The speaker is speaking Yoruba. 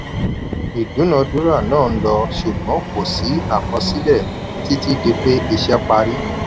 ìdúnadúrà náà ń lọ ṣùgbọ́n kò sí àkọsílẹ̀ títí di pé iṣẹ́ parí.